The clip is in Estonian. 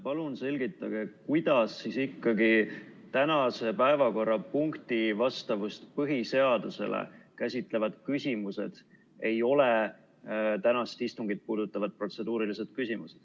Palun selgitage, kuidas ikkagi tänase päevakorrapunkti põhiseadusele vastavust käsitlevad küsimused ei ole tänast istungit puudutavad protseduurilised küsimused.